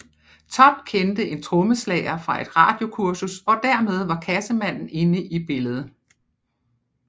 Topp kendte en trommeslager fra et radiokursus og dermed var Cassemannen inde i billedet